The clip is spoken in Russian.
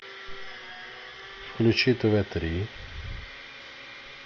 включи тв три